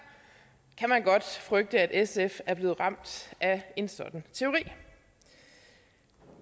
kan man godt frygte at sf er blevet ramt af en sådan teori